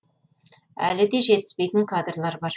әлі де жетіспейтін кадрлар бар